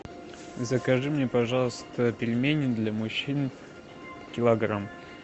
закажи мне пожалуйста пельмени для мужчин килограмм